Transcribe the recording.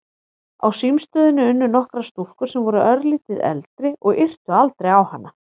Á símstöðinni unnu nokkrar stúlkur sem voru örlítið eldri og yrtu aldrei á hana.